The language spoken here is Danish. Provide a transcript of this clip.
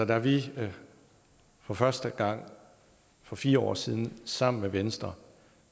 da vi for første gang for fire år siden sammen med venstre